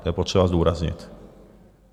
To je potřeba zdůraznit.